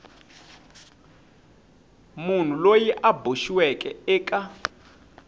munhu loyi a boxiweke eka